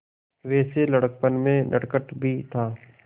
वैसे लड़कपन में नटखट भी था